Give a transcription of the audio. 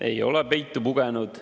Ei ole peitu pugenud.